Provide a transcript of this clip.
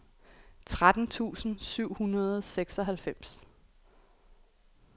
tretten tusind syv hundrede og seksoghalvfems